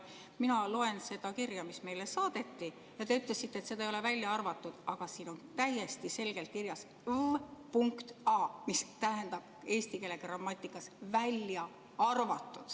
Mina loen seda kirja, mis meile saadeti, ja te ütlesite, et seda ei ole välja arvatud, aga siin on täiesti selgelt kirjas "v.a", mis tähendab eesti keeles "välja arvatud".